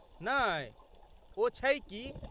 नहि ,ओ छै की?